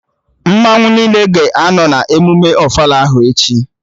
Mmanwụ niile ga-anọ na emụme ofala ahụ echi